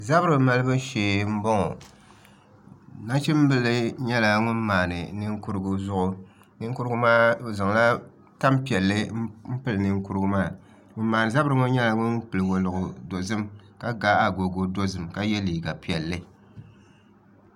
Zabiri malibu shee n boŋo nachimbili nyɛla ŋun maandi ninkurigu zuɣu ninkurigu maa o zaŋla tanpiɛlli n pili ninkurigu maa ŋun maandi zabiri ŋo nyɛla ŋun pili woliɣi dozim ka ga agogo dozim ka yɛ liiga piɛlli